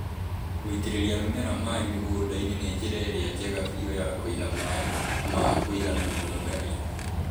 Gũitĩrĩria mĩmera maĩ mĩgũnda-inĩ ni njĩra ĩrĩa njega biũ ya kũiga maĩ ma kũigana mĩmera-inĩ.